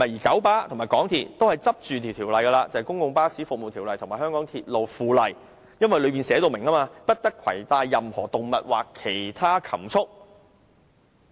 九巴和港鐵公司分別倚仗《公共巴士服務條例》和《香港鐵路附例》，因當中列明不得攜帶任何動物或其他禽畜。